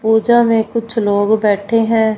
पूजा में कुछ लोग बैठे हैं।